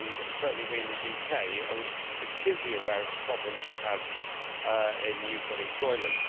Certainly we in the UK are acutely aware of the problems we have with youth unemployment.